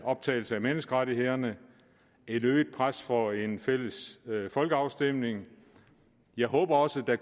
optagelse af menneskerettighederne og et øget pres for en fælles folkeafstemning og jeg håber også der